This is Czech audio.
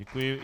Děkuji.